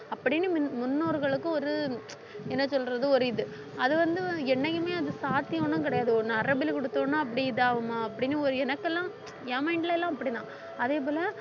அப்படின்னு மின்~ முன்னோர்களுக்கு ஒரு என்ன சொல்றது ஒரு இது அது வந்து என்னைக்குமே அது சாத்தியம்ன்னு கிடையாது ஒண்ணு நரபலி குடுத்தோம்ன்னா அப்படி இது ஆகுமா அப்படின்னு ஒரு எனக்கெல்லாம் என் mind ல என் mind ல எல்லாம் அப்படிதான் அதே போல